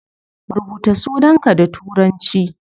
Rubuta sunanka da turanci